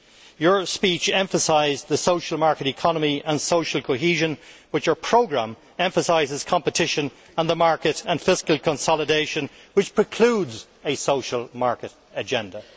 Your speech emphasised the social market economy and social cohesion, but your programme emphasises competition on the market and fiscal consolidation, which precludes a social market agenda.